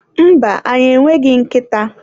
mba, anyị e nweghị nkịta